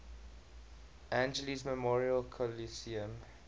angeles memorial coliseum